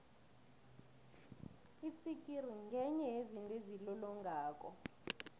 itsikiri ngenye yezinto ezilolongako